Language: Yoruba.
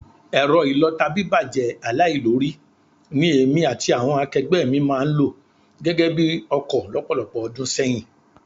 Ẹ̀rọ ìlọta bíbàjẹ́ aláìlórí, ní èmi àti àwọn akẹgbẹ́ mi máa ń lò gẹ́gẹ́ bi ọkọ lọ́pọ̀lọpọ̀ ọdún sẹ́yìn